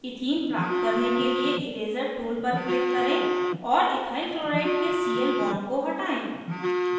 ethene प्राप्त करने के लिए इरेज़र tool पर click करें और ethyl chloride के cl bond को हटायें